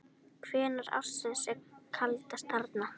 Hvenær ársins er kaldast þarna?